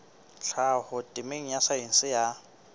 tlhaho temeng ya saense ya